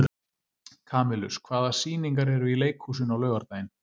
Kamilus, hvaða sýningar eru í leikhúsinu á laugardaginn?